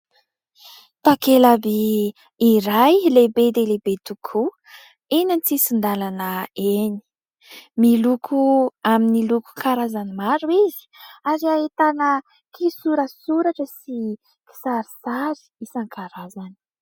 Takela-by iray lehibe dia lehibe tokoa eny antsisin-dalana eny ; miloko amin'ny loko karazany maro izy ary ahitana kisoratsoratra sy kisarisary isankarazany.